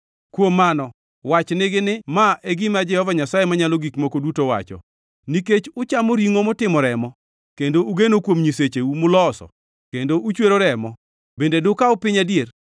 Kuom mano wach nigi ni, ‘Ma e gima Jehova Nyasaye Manyalo Gik Moko Duto wacho: Nikech uchamo ringʼo motimo remo kendo ugeno kuom nyisecheu muloso kendo uchwero remo, bende dukaw piny adier?